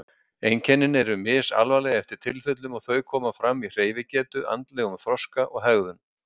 Einkennin eru misalvarleg eftir tilfellum en þau koma fram í hreyfigetu, andlegum þroska og hegðun.